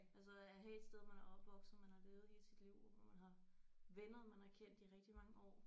Altså at have et sted man er opvokset man har levet hele sit liv og hvor man har venner man har kendt i rigtig mange år